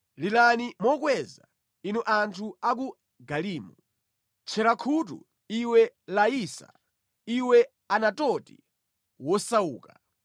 Lilani mokweza, inu anthu a ku Galimu! Tchera khutu, iwe Laisa! Iwe Anatoti wosauka!